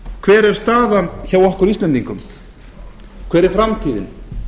hver er staðan hjá okkur íslendingum hver er framtíðin